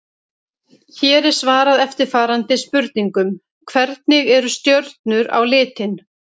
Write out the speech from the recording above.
Hér er svarað eftirfarandi spurningum: Hvernig eru stjörnur á litinn?